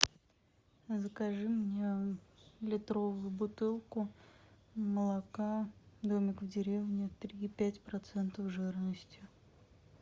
закажи мне литровую бутылку молока домик в деревне три и пять процентов жирности